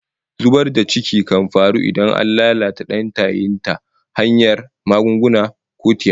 Zubar da ciki kan faru idan an lalata dan tayin ta hanyar magunguna ko tiyata